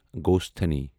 گۄسٹھانی